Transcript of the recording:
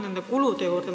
Ma tulen kulude juurde.